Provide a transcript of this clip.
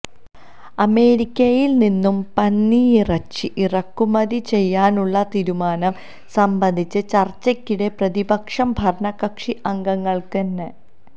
അമേരിക്കയിൽ നിന്നും പന്നിയിറച്ചി ഇറക്കു മതി ചെയ്യാനുള്ള തീരുമാനം സംബന്ധിച്ച ചർച്ചയ്ക്കിടെ പ്രതിപക്ഷം ഭര്ണ കക്ഷി അംഗങ്ങൾക്ക് നേ